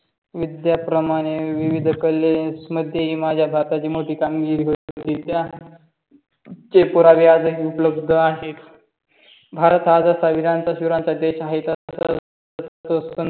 विद्या प्रमाणे विविध कले मध्ये माझ्या राष्ट्राची मोठी कामगिरी होती. त्या चे पुरावे आजही उपलब्ध आहेत. भारत हा जसा वीरांत वीरांचा देश आहे तसं तसं अह